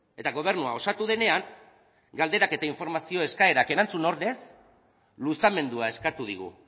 eta gobernua osatu denean galderak eta informazio eskaerak erantzun ordez luzamendua eskatu digu